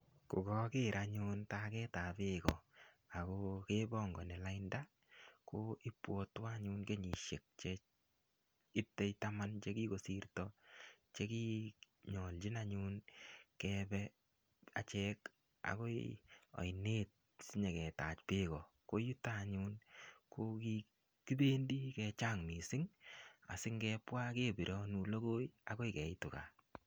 Kokoker anyun taget ab bek kepongoni lainda ko ibwotwon anyun kenyisiek Che itei taman Che kigosirto Che konyolchin anyun Kebe achek agoi ainet si nyo Kebe ko yutok anyun ye kikibendi kichang mising asingebwa kebironu logoi agoi keitun gaa